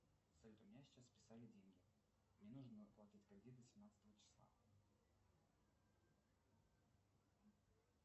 салют у меня сейчас списали деньги мне нужно оплатить кредит до семнадцатого числа